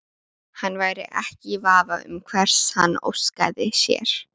Hann væri ekki í vafa um hvers hann óskaði sér.